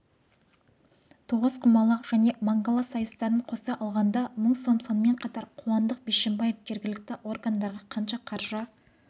тоғызқұмалақ және мангала сайыстарын қоса алғанда мың сом сонымен қатар қуандық бишімбаев жергілікті органдарға қанша қаржы